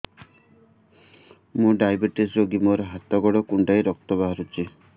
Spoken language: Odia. ମୁ ଡାଏବେଟିସ ରୋଗୀ ମୋର ହାତ ଗୋଡ଼ କୁଣ୍ଡାଇ ରକ୍ତ ବାହାରୁଚି